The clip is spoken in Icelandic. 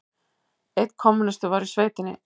Einn kommúnisti var í sveitinni.